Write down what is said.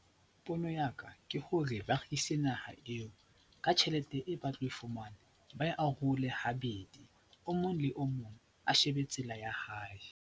Pono ya ka ke hore ba rekise naha eo, ka tjhelete e ba tlo e fumana ba e arole habedi, o mong le o mong a shebe tsela ya hae.